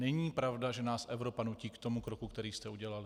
Není pravda, že nás Evropa nutí k tomu kroku, který jste udělali.